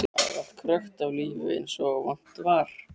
Þar var allt krökkt af lífi eins og vant var.